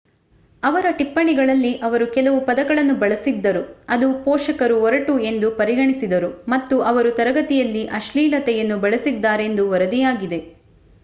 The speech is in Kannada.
ಅವರ ಟಿಪ್ಪಣಿಗಳಲ್ಲಿ ಅವರು ಕೆಲವು ಪದಗಳನ್ನು ಬಳಸಿದ್ದರು ಅದು ಪೋಷಕರು ಒರಟು ಎಂದು ಪರಿಗಣಿಸಿದರು ಮತ್ತು ಅವರು ತರಗತಿಯಲ್ಲಿ ಅಶ್ಲೀಲತೆಯನ್ನು ಬಳಸಿದ್ದಾರೆಂದು ವರದಿಯಾಗಿದೆ